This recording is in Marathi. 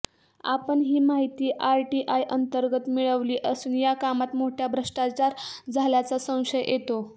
आपण ही माहिती आरटीआयअंतर्गत मिळविली असून या कामात मोठा भ्रष्टाचार झाल्याचा संशय येतो